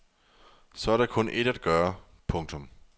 Så er der kun ét at gøre. punktum